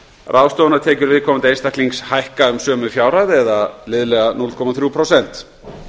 ráðstöfunartekjur viðkomandi einstaklings hækka um sömu fjárhæð liðlega núll komma þrjú prósent